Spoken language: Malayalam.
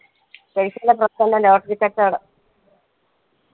പൈസന്റെ പ്രശ്നുള്ള lotttery കച്ചോടം